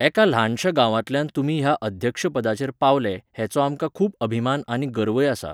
एका ल्हानशा गांवांतल्यान तुमी ह्या अध्यक्षपदाचेर पावले हेचो आमकां खूब अभिमान आनी गर्वय आसा